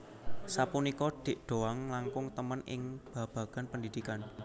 Sapunika Dik Doank langkung temen ing babagan pendidikan